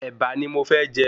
Ẹ̀bà ni mo fẹ́ jẹ